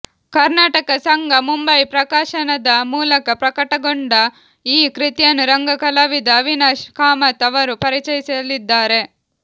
ಕರ್ನಾಟಕ ಸಂಘ ಮುಂಬಯಿ ಪ್ರಕಾಶನದ ಮೂಲಕ ಪ್ರಕಟಗೊಂಡ ಈ ಕೃತಿಯನ್ನು ರಂಗ ಕಲಾವಿದ ಅವಿನಾಶ್ ಕಾಮತ್ ಅವರು ಪರಿಚಯಿಸಲಿದ್ದಾರೆ